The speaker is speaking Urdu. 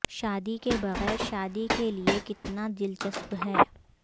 شادی کے بغیر شادی کے لئے کتنا دلچسپ ہے